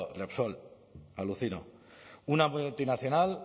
repsol alucino una multinacional